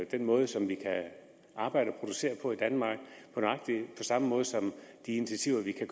den måde som vi kan arbejde og producere på i danmark på nøjagtig samme måde som de initiativer vi kan